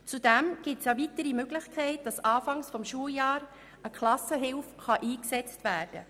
Zudem besteht die Möglichkeit, zu Beginn des Schuljahres eine Klassenhilfe einzusetzen.